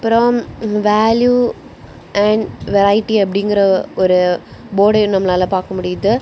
அப்புறம் value and variety அப்படிங்கற ஒரு போர்டையு நம்மளால பாக்க முடியுது.